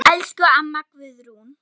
Elsku amma Guðrún.